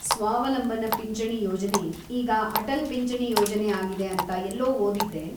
ಸ್ವಾವಲಂಬನ ಪಿಂಚಣಿ ಯೋಜನೆ ಈಗ ಅಟಲ್‌ ಪಿಂಚಣಿ ಯೋಜನೆ ಆಗಿದೆ ಅಂತಾ ಎಲ್ಲೋ ಓದಿದ್ದೆ?